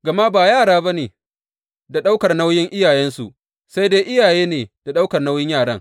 Gama ba yara ne da ɗaukar nauyin iyayensu ba, sai dai iyaye ne da ɗaukar nauyin yaran.